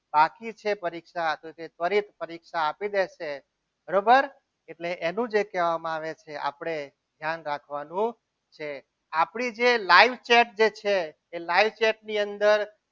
બાકી છે પરીક્ષા તે ફરી પરીક્ષા આપી દેશે બરોબર એટલે એનું જે કહેવામાં આવે છે આપણે ધ્યાન રાખવાનું છે આપણી જે live chat જે છે એ live chat ની અંદર